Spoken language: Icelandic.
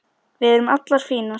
Við erum allar fínar